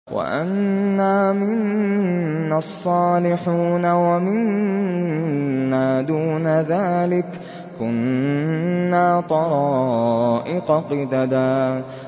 وَأَنَّا مِنَّا الصَّالِحُونَ وَمِنَّا دُونَ ذَٰلِكَ ۖ كُنَّا طَرَائِقَ قِدَدًا